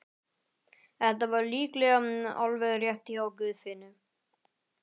Þetta var líklega alveg rétt hjá Guðfinnu.